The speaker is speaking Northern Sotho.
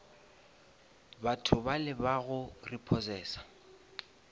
batho bale ba go repossesa